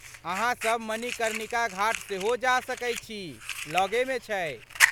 अहाँ सब मणिकर्णिका घाट सेहो जा सकै छी, लगेमे छै।